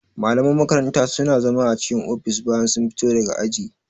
Malaman makaranta suna zama a cikin ofis bayan sun fito daga aji